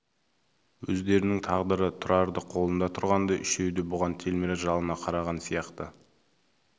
өздерінің тағдыры тұрардың қолында тұрғандай үшеуі де бұған телміре жалына қараған сияқты